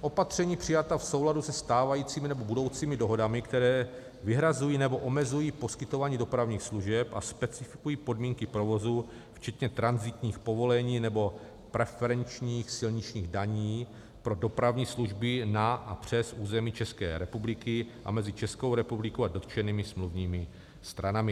opatření přijatá v souladu se stávajícími nebo budoucími dohodami, které vyhrazují nebo omezují poskytování dopravních služeb a specifikují podmínky provozu včetně tranzitních povolení nebo preferenčních silničních daní pro dopravní služby na a přes území České republiky a mezi Českou republikou a dotčenými smluvními stranami.